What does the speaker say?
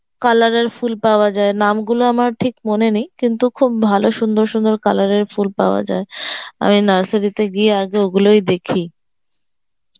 colour এর ফুল পাওয়া যায় নাম গুলো আমার ঠিক মান নেই কিন্তু খুব ভালো সুন্দর সুন্দর colour এর ফুল পাওয়া যায় আমি nursery তে গিয়ে আগে ঐগুলোই দেখি